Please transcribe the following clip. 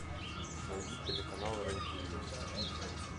найди телеканал рен тв